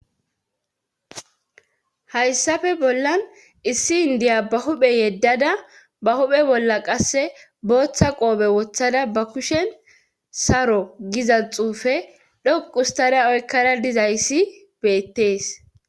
Hayssafe bollan issi indiya ba huphe yeddada ba huphe bolla qasse booththa qoobe wothada ba kushen saro gizaz xuufe dhoqustara oykkara dizayssi beettees.